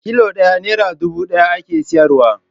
Kilo ɗaya nera dubu ɗaya ake sayarwa.